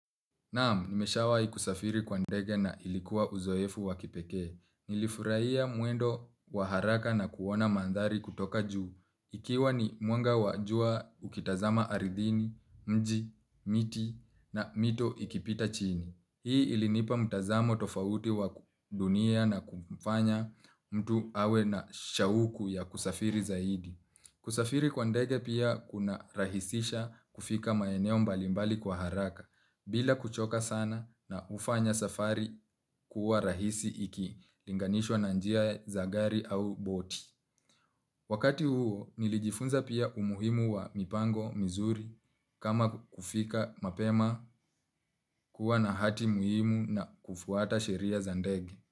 Naam, nimeshawahi kusafiri kwa ndege na ilikuwa uzoefu wakipekee. Nilifurahia mwendo wa haraka na kuona mandhari kutoka juu. Ikiwa ni mwanga wa jua ukitazama aridhini, mji, miti na mito ikipita chini. Hii ilinipa mtazamo tofauti wa dunia na kumfanya mtu awe na shauku ya kusafiri zaidi. Kusafiri kwa ndege pia kuna rahisisha kufika maeneo mbalimbali kwa haraka. Bila kuchoka sana na hufanya safari kuwa rahisi iki linganishwa na njia zagari au boti. Wakati huo nilijifunza pia umuhimu wa mipango mizuri kama kufika mapema kuwa na hati muhimu na kufuata sheria za ndege.